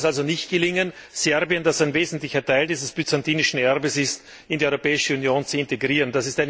Warum sollte es also nicht gelingen, Serbien, das ein wesentlicher Teil dieses byzantinischen Erbes ist, in die Europäische Union zu integrieren?